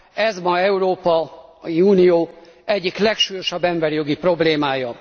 Ez ma az Európai Unió egyik legsúlyosabb emberi jogi problémája.